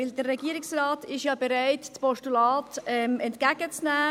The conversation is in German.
Der Regierungsrat ist ja bereit, das Postulat entgegenzunehmen.